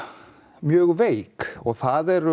mjög veik það eru